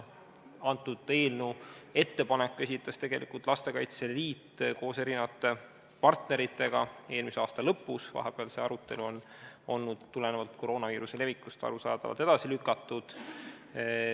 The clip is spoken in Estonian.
Antud eelnõu ettepaneku esitas tegelikult Lastekaitse Liit koos erinevate partneritega eelmise aasta lõpus, vahepeal oli see arutelu tulenevalt koroonaviiruse levikust arusaadavalt edasi lükatud.